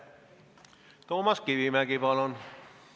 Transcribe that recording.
Toomas Kivimägi, palun!